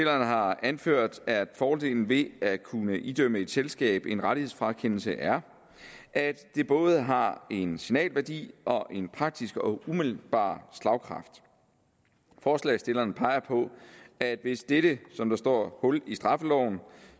har anført at fordelen ved at kunne idømme et selskab en rettighedsfrakendelse er at det både har en signalværdi og en praktisk og umiddelbar slagkraft forslagsstillerne peger på at hvis dette som der står hul i straffeloven